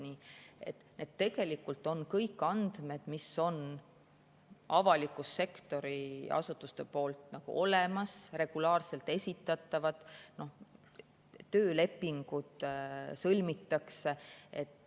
Nii et tegelikult on need kõik andmed, mis on avaliku sektori asutustel olemas ja regulaarselt esitatavad, töölepingud sõlmitakse.